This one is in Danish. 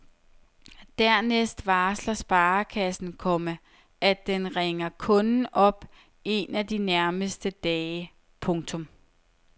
Dernæst varsler sparekassen, komma at den ringer kunden op en af de nærmeste dage. punktum